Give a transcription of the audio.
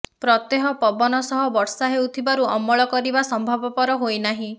ପ୍ରତ୍ୟହ ପବନ ସହ ବର୍ଷା ହେଉଥିବାରୁ ଅମଳ କରିବା ସମ୍ଭବପର ହୋଇନାହିଁ